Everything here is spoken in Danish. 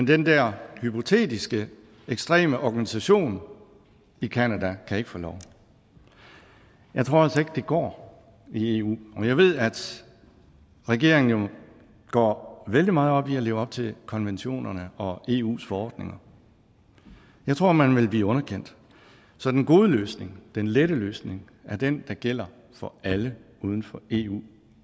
den der hypotetiske ekstreme organisation i canada kan få lov jeg tror altså ikke at det går i eu og jeg ved at regeringen jo går vældig meget op i at leve op til konventionerne og eus forordninger jeg tror man vil blive underkendt så den gode løsning den lette løsning er den der gælder for alle uden for eu